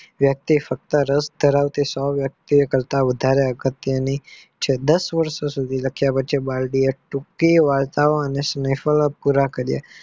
વક્તિ સતત રસ ધરાવતી સો વર્ષ થી વધારે અગત્ય ની છે દાસ વર્ષ સુધી લાખિયા પછી બાળ વાર્તા ટૂંકી વાર્તા ઓ શિકાળકો પુરા કરીયા.